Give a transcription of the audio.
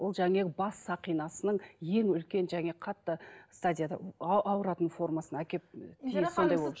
ол жаңағы бас сақинасының ең үлкен жаңағы қатты стадияда ауыратын формасына әкеліп сондай болып